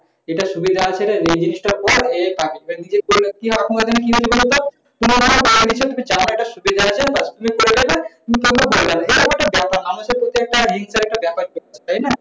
এটা সুবিধা আছে নিদিষ্ট সময় পর আমাদের প্রতি risk এর একটা ব্যাপার আছে। তাই না?